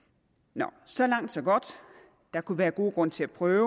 nå så langt så godt der kunne være gode grunde til at prøve